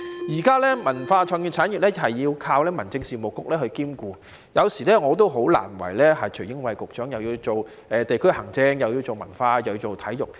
現在文化創意產業要靠民政事務局兼顧，有時候我也替徐英偉局長感到為難，又要做地區行政，又要做文化，又要做體育。